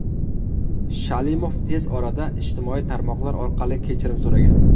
Shalimov tez orada ijtimoiy tarmoqlar orqali kechirim so‘ragan.